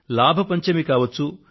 లాభ పంచమి కావచ్చు